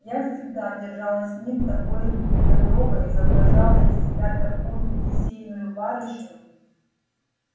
я всегда держалась с ним такой недотрогой изображала из себя такую кисейную барышню